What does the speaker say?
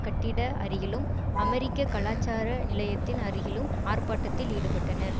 கட்டிட அருகிலும் அமெரிக்க கலாச்சார நிலையத்தின் அருகிலும் ஆர்ப்பாட்டத்தில் ஈடுபட்டனர்